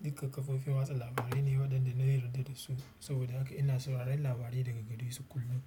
Duka kafofin watsa labarai ne waɗanda na yarda da su, saboda haka ina sauraron labarai daga gare su kullum.